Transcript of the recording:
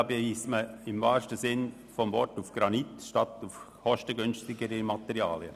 Diesbezüglich beisst man im wahrsten Sinn des Wortes auf Granit statt auf kostengünstigere Materialien.